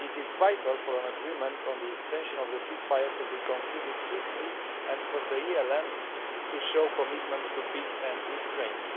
It is vital for an agreement on the extension of the ceasefire to be concluded swiftly and for the ELN to show commitment to peace and restraint.